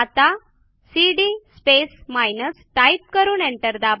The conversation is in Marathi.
आता सीडी स्पेस माइनस टाईप करून एंटर दाबा